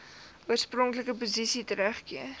oorspronklike posisie teruggekeer